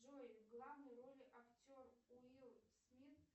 джой в главной роли актер уилл смит